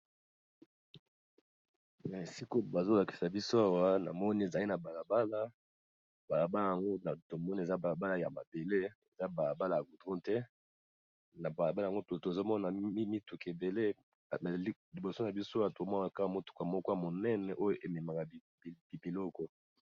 Na esikoyo bazolakisa biso awa na moni ezali na balabala balabala yango a tomoni eza balabala ya madele eza balabala ya roudron te na balabala yango tozomona mimituka ebele naliboso na bisowa tomwanaka motuka mokwa monene oyo ememaka bibiloko